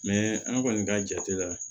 an kɔni ka jate la